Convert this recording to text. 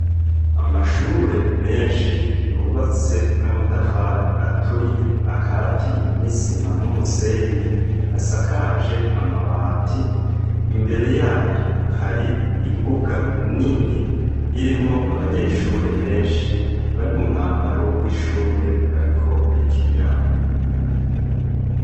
Amashure menshi yubatse n'amatafari aturiye akatiye n'isima n'umusenyi, asakaje amabati, imbere yayo hari imbuga nini irimwo abanyeshure benshi bari mu mwambaro w'ishure bariko bayikiniraho.